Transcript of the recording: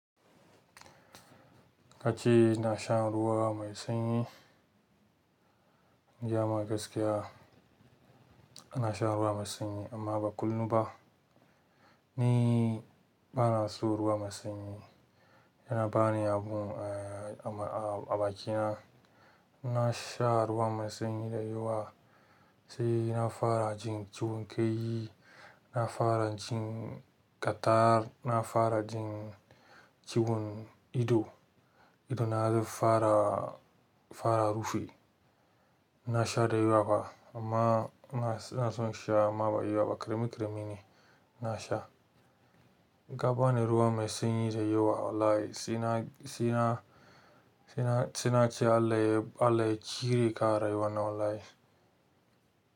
Kace ina shan ruwa mai sanyi, in gaya ma gaskiya ina shan ruwa mai sanyi amma ba kullum ba. Ni bana so ruwa mai sanyi, yana bani abu a bakina. Ina sha ruwa mai sanyi da yawa, sai na fara jin ciwon kai, na fara jin cattarh, na fara jin ciwon ido, ido na zai fara, fara rufe. Ina sha da yawa fa, amma ina son sha amma ba da yawa ba. Karemi karemi ne ina sha. Ka bani ruwa mai sanyi da yawa wallahi sai na, sai na ce Allah ya cire ka a rayuwa na wallahi.